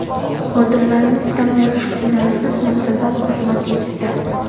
Xodimlarimiz dam olish kunlarisiz muntazam xizmatingizda!